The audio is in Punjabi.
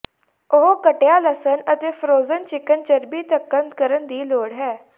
ਉਹ ਕੱਟਿਆ ਲਸਣ ਅਤੇ ਫ਼੍ਰੋਜ਼ਨ ਚਿਕਨ ਚਰਬੀ ਧੱਕਣ ਕਰਨ ਦੀ ਲੋੜ ਹੈ